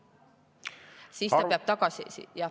Siis ta peab tagasi …